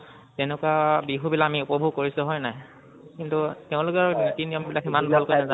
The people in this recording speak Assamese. তেনেকুৱা বিহু বিলাক আমি উপভোগ কৰিছো, হয় নাই? কিন্তু তেওঁলোকৰ নিতি নিয়ম বিলাক সিমান ভাল কৈ নাজানো বাৰু